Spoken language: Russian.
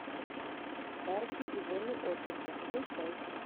парки и зоны отдыха включай